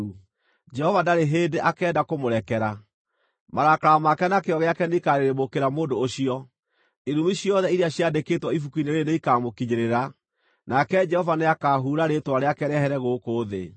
Jehova ndarĩ hĩndĩ akenda kũmũrekera; marakara make na kĩyo gĩake nĩikarĩrĩmbũkĩra mũndũ ũcio. Irumi ciothe iria ciandĩkĩtwo ibuku-inĩ rĩĩrĩ nĩikamũkinyĩrĩra, nake Jehova nĩakahuura rĩĩtwa rĩake rĩehere gũkũ thĩ.